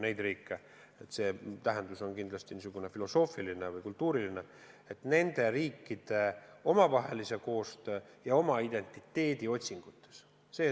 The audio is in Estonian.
Selle elulaadi tähendus on pigem filosoofiline või kultuuriline ja nende riikide omavahelise koostöö, nende identiteedi otsingud on tähtsad.